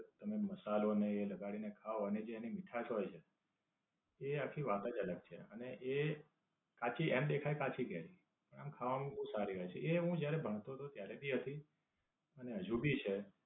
તમે મસાલો ને એ લગાડીને ખાવ અને એ જે તેની મીઠાસ હોય છે એ આખી વાત જ અલગ છે. અને એ આમ દેખાય કાચી કેરી પણ આમ ખાવાની બોવ સારી હોય છે. એ હું જયારે ભણતો હતો ત્યારે ભી હતી અને હજુ ભી છે.